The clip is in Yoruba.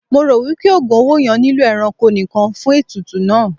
Mo ro wipe ogùn owó yẹn nilo ẹranko nìkàn fún ètùtù náà.